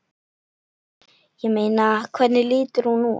Ég meina. hvernig lítur hún út?